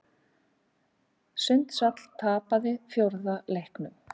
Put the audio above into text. Sundsvall tapaði fjórða leiknum